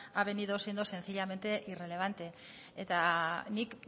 ha venido siendo sencillamente irrelevante eta nik